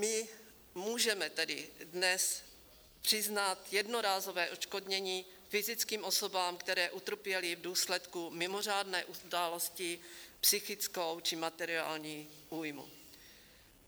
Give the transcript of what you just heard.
My můžeme tedy dnes přiznat jednorázové odškodnění fyzickým osobám, které utrpěly v důsledku mimořádné události psychickou či materiální újmu.